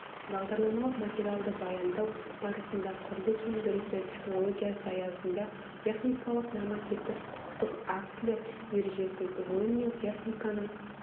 бағдарламалық материалды баяндау барысында құрылыс өндірісі технологиясы аясында техникалық нормативтік құқықтық актілер ережесін ғылым мен техниканың